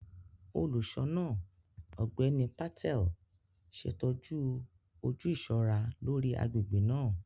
Olùṣọ náà, Ọgbẹni Patel, ṣetọju oju iṣọra lórí agbègbè naa.